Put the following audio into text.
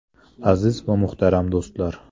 Aziz va muhtaram do‘stlar!